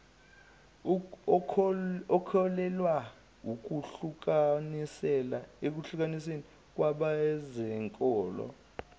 ukholelwa ekuhlukaniseni kwabezenkolo